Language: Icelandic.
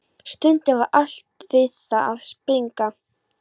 Stundum var allt við það að springa.